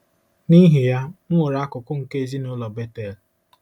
N’ihi ya, m ghọrọ akụkụ nke ezinụlọ Bethel.